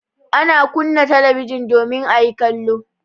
Ana kunna talabijin domin a yi kallo.